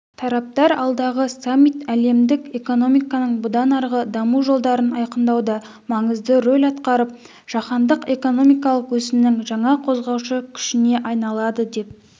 тараптар алдағы саммит әлемдік экономиканың бұдан арғы даму жолдарын айқындауда маңызды рөл атқарып жаһандық экономикалық өсімнің жаңа қозғаушы күшіне айналады деп